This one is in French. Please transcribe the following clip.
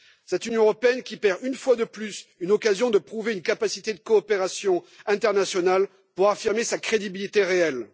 Cette Union européenne qui perd une fois de plus une occasion de prouver une capacité de coopération internationale pour affirmer sa crédibilité réelle.